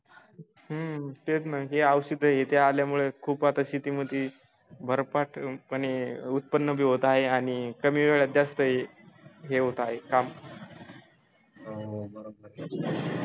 हम्म तेच ना हे औषध आहे ते आल्यामुळे खूप आता शेतीमध्ये भरपाठ पने उत्पन्न भी होत आहे आणि कमी वेळात जास्त हे हे होत आहे काम